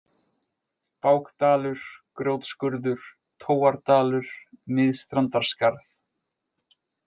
Bákdalur, Grjótskurður, Tóardalur, Miðstrandarskarð